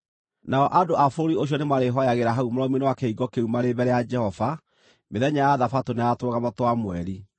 Nao andũ a bũrũri ũcio nĩmarĩĩhooyagĩra hau mũromo-inĩ wa kĩhingo kĩu marĩ mbere ya Jehova mĩthenya ya Thabatũ na ya Tũrũgamo twa Mweri.